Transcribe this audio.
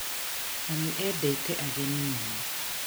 Mami endete ageni muno